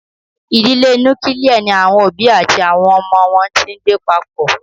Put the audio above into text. Idile nukilie ni awọn obi ati awọn ọmọ wọn ti ngbe papọ.